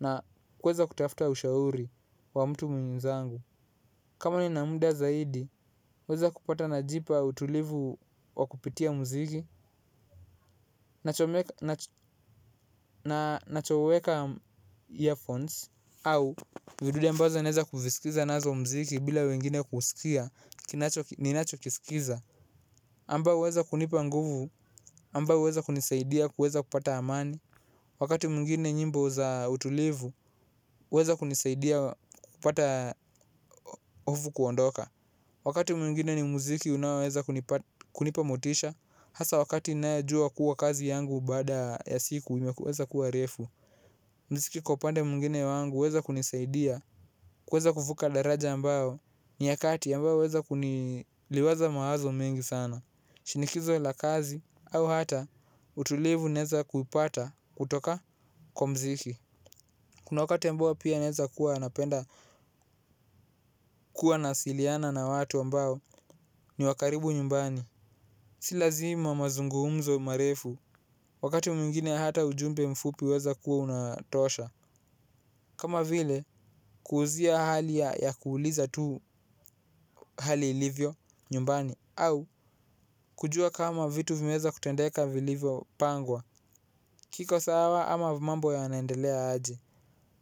na kuweza kutafuta ushauri wa mtu mwenzangu kama nina muda zaidi huweza kupata najipa utulivu kwa kupitia mziki nachomek nachoweka earphones au vidude ambazo naweza kuviskiza nazo mziki bila wengine kuskia ninachokiskiza amba huweza kunipa nguvu, amba huweza kunisaidia kuweza kupata amani. Wakati mungine nyimbo za utulivu, huweza kunisaidia kupata ovu kuondoka. Wakati mwingine ni muziki unaoweza kunipa motisha. Hasa wakati ninayejua kuwa kazi yangu baada ya siku, imeweza kuwa refu mziki kwa upande mwingine wangu, huweza kunisaidia kuweza kuvuka daraja ambayo ni yakati ambayo huweza kuni liwaza mawazo mengi sana. Shinikizo la kazi au hata utulivu naeza kupata kutoka kwa mziki. Kuna wakati ambao pia naeza kuwa napenda kuwa naasiliana na watu ambao ni wakaribu nyumbani. Silazima mazungumzo marefu wakati mwingine hata ujumbe mfupi huweza kuwa unatosha. Kama vile kuuzia hali ya kuuliza tu hali ilivyo nyumbani. Au kujua kama vitu vimeeza kutendeka vilivyo pangwa. Kiko sawa ama mambo ya naendelea aje.